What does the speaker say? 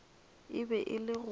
e be e le go